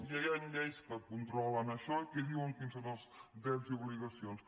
ja hi han lleis que controlen això i que diuen quins són els drets i obligacions